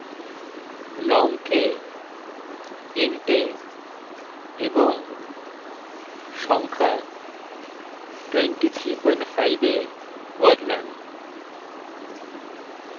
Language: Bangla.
long কে int এ এবং সংখ্যা 235 এ বদলান